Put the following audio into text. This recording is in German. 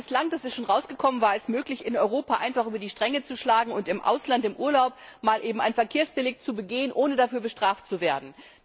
Bislang das ist schon rausgekommen war es möglich, in Europa einfach über die Stränge zu schlagen und im Ausland im Urlaub mal eben ein Verkehrsdelikt zu begehen, ohne dafür bestraft zu werden.